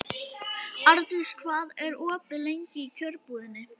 Ardís, hvað er opið lengi í Kjörbúðinni?